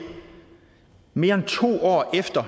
mere end to år efter